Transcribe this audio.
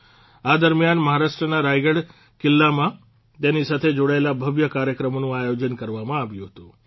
આ દરમિયાન મહારાષ્ટ્રના રાયગઢ કિલ્લામાં તેની સાથે જોડાયેલા ભવ્ય કાર્યક્રમોનું આયોજન કરવામાં આવ્યું હતું